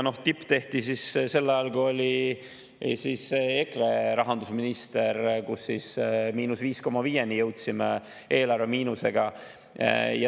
Tipp tehti sel ajal, kui oli EKRE rahandusminister, ja siis jõuti –5,5‑ni eelarvemiinusega.